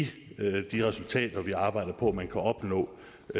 de resultater vi arbejder på at man kan opnå